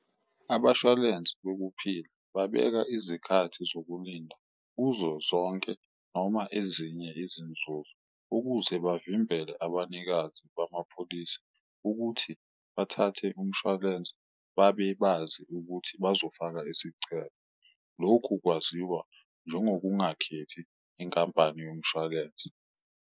Abashwalensi bokuphila babeka izikhathi zokulinda kuzo zonke noma ezinye izinzuzo, ukuze bavimbele abanikazi bamapholisi ukuthi bathathe umshwalensi babe bazi ukuthi bazofaka isicelo. Lokhu kwaziwa njengokungakhethi inkampane yomshwalensi.